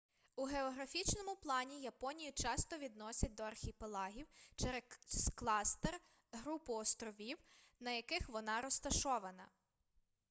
у географічному плані японію часто відносять до архіпелагів через кластер/групу островів на яких вона розташована